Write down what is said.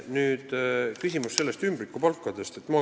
Nüüd ümbrikupalkade küsimus.